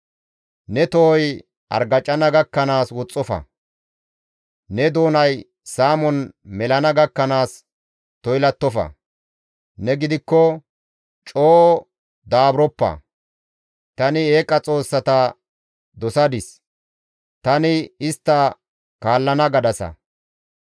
Ne tohoy argacana gakkanaas woxxofa; ne doonay saamon melana gakkanaas toylattofa; ne gidikko, «Coo daaburoppa; tani eeqa xoossata dosadis; tani istta kaallana» gadasa.